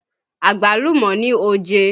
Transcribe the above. Àgbálùmọ́ ní oje